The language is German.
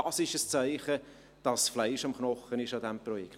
Dies ist ein Zeichen, dass Fleisch am Knochen ist bei diesem Projekt.